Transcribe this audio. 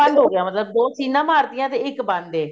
ਬੰਦ ਹੋਗਿਆ ਮਤਲਬ ਦੋ ਸੀਨਾ ਮਾਰਤੀਆਂ ਤੇ ਇੱਕ ਬੰਦ ਹੈ